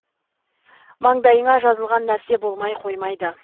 маңдайыңа жазылған нәрсе болмай қоймайды